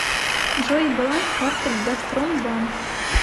джой баланс карты газпромбанк